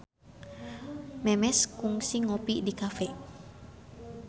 Memes kungsi ngopi di cafe